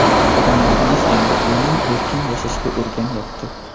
Odamlarimiz endi emin-erkin yashashga o‘rganyapti.